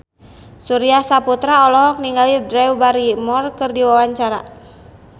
Surya Saputra olohok ningali Drew Barrymore keur diwawancara